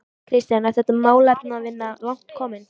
Kristján: Er þá málefnavinna langt komin?